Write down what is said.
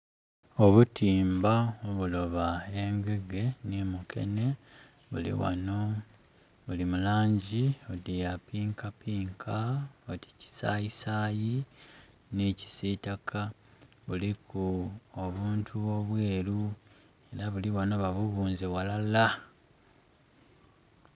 Obutimba obuloba engege ni mukene buli ghano buli mu langi oti ya pinka pinka oti kisayi sayi ni kisitaka, buliku obuntu obweru era buli ghano ba bubunze ghalala.